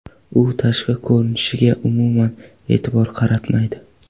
U tashqi ko‘rinishiga umuman e’tibor qaratmaydi.